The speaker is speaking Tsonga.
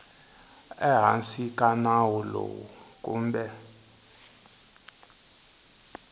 ehansi ka nawu lowu kumbe